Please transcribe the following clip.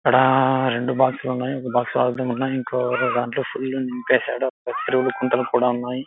అక్కడ రెండు బాక్స్ లు ఉన్నాయి. ఒక్క బాక్స్ లో ఉన్నాయి. ఇంకో దాంట్లో ఫుల్ గా నింపేసాడు. లు కూడా ఉన్నాయి.